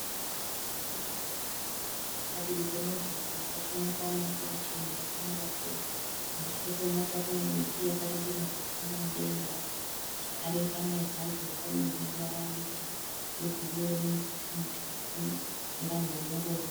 Vanhu vakawungana padivi pemugwagwa pachiwonekwa mota chena yakamira po. Kumasure kwemota kunemiti yakarebenuka ichiyenda mudenga. Zvakare bane bhazi rakamira rineruvara rwe bhuru nemitsetse mitsuku, nevanhu vane ngoro.